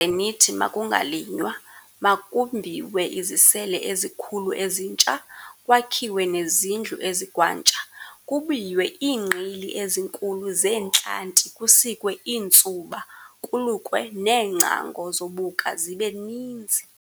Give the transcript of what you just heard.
"ze nithi makungalinywa, makumbiwe izisele ezikhulu ezitsha, kwakhiwe nezindlu ezikwantsha, kubiywe iingqili ezinkulu zeentlanti, kusikwe iintsuba, kulukwe neengcango "zobuka" zibe ninzi.